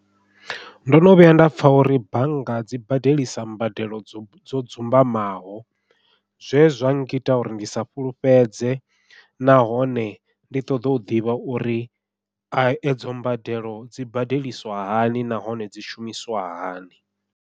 Ndo no vhuya nda pfha uri bannga dzi badelisa mbadelo dzo dzumbamaho, zwe zwa ngita uri ndi sa fhulufhedze nahone ndi ṱoḓa u ḓivha uri a edzo mbadelo dzi badeliswa hani nahone dzi shumiswa hani.